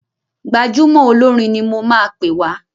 Gbajúmọ̀ olórin ni mo máa pè wá.